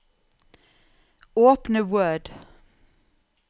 Åpne Word